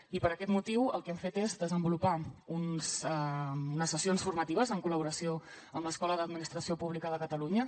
i per aquest motiu el que hem fet és desenvolupar unes sessions formatives en collaboració amb l’escola d’administració pública de catalunya